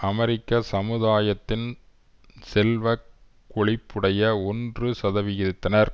அமெரிக்க சமுதாயத்தின் செல்வ கொழிப்புடைய ஒன்று சதவிகிதத்தினர்